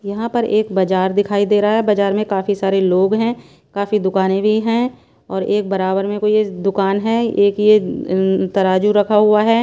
यहाँ पर एक बाजार दिखाई दे रहा है बाजार में काफी सारे लोग हैं काफी दुकानें भी हैं और एक बराबर में कोई ये दुकान है एक ये इन तराजू रखा हुआ है।